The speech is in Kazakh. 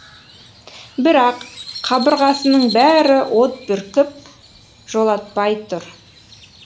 бірақ қабырғасының бәрі от бүркіп жолатпай тұр